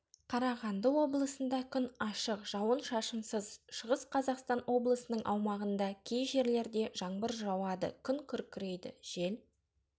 қарағанды облысында күн ашық жауын-шашынсыз шығыс қазақстан облысының аумағында ккей жерлерде жаңбыр жуады күн күркірейді жел